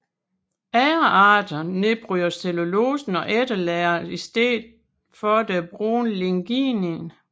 Andre arter nedbryder cellulosen og efterlader i stedet det brune lignin